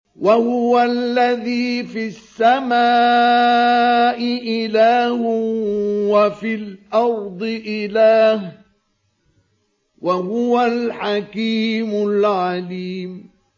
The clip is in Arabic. وَهُوَ الَّذِي فِي السَّمَاءِ إِلَٰهٌ وَفِي الْأَرْضِ إِلَٰهٌ ۚ وَهُوَ الْحَكِيمُ الْعَلِيمُ